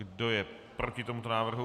Kdo je proti tomuto návrhu?